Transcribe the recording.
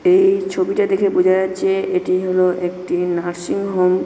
এ-ই ছবিটা দেখে বুঝা যাচ্ছে এটি হলো একটি নার্সিং হোম ।